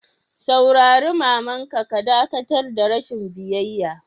Saurare mama'n ka ka dakatar da rashin biyyaya!